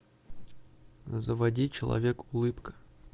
заводи человек улыбка